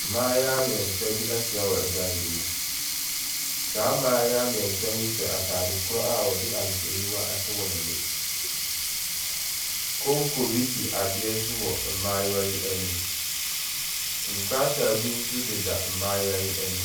Mmaayewa mmiɛnsa bi ahyia wɔ dan bi mu, saa mmaayewa mmiɛnsa yi hyɛ ataadekoro a wɔde ahwehwɛniwa ahyehyɛ wɔn ani. Konko bi si adeɛ so wɔ mmaayewa yi anim. Nkrataa bi nso deda mmaayewa yi anim.